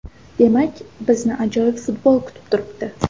Demak bizni ajoyib futbol kutib turibdi.